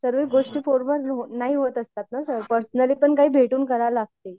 सर्वे गोष्टी फोनवर नाही होत असतात ना सर पर्सनली पण काही भेटून करावे लागते.